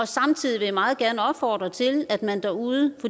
samtidig vil jeg meget gerne opfordre til at man derude